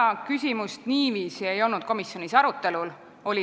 See küsimus ei olnud niiviisi komisjonis arutelul.